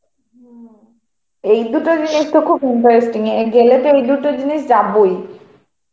হম এই দুটো জিনিসতো খুব interesting. গেলে তো এই দুটো জিনিস যাবই.